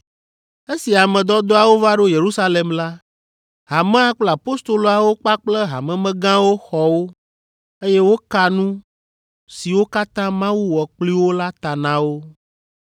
Esi ame dɔdɔawo va ɖo Yerusalem la, hamea kple apostoloawo kpakple hamemegãwo xɔ wo, eye woka nu siwo katã Mawu wɔ kpli wo la ta na wo.